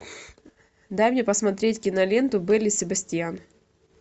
дай мне посмотреть киноленту белль и себастьян